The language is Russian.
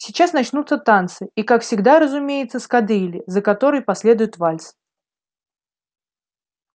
сейчас начнутся танцы и как всегда разумеется с кадрили за которой последует вальс